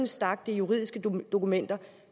stak det er juridiske dokumenter